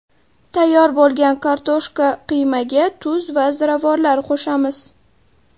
Tayyor bo‘lgan kartoshka qiymaga tuz va ziravorlar qo‘shamiz.